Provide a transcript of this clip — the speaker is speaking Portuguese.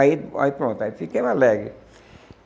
Aí aí pronto, aí ficamos alegres.